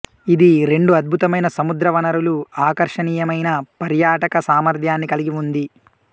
ఇది రెండు అద్భుతమైన సముద్ర వనరులు ఆకర్షణీయమైన పర్యాటక సామర్థ్యాన్ని కలిగి ఉంది